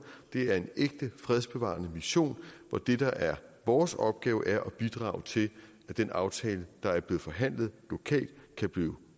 det er en ægte fredsbevarende mission hvor det der er vores opgave er at bidrage til at den aftale der er blevet forhandlet lokalt kan blive